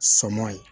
Sama ye